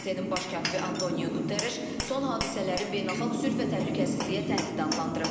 BMT-nin baş katibi Antonio Quttereş son hadisələri beynəlxalq sülh və təhlükəsizliyə təhdid adlandırıb.